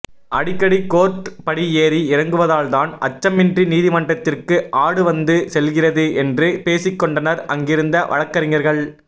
அடிக்கடி கோர்ட் படி ஏறி இறங்குவதால்தான் அச்சமின்றி நீதிமன்றத்திற்கு ஆடு வந்து செல்கிறது என்று பேசிக்கொண்டனர் அங்கிருந்த வழக்கறிஞர்கள்